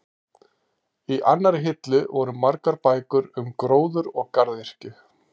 Í annarri hillu voru margar bækur um gróður og garðyrkju.